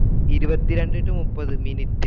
ഇരുപത്തി രണ്ടേ to മുപ്പതു മിനിറ്റ്.